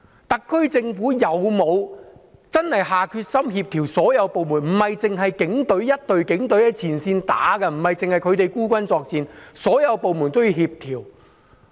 特區政府有否真的下決心在所有部門中作出協調，不應只有一支警隊在前線單打獨鬥，不應只有他們孤軍作戰，而是應該協調所有部門的工作？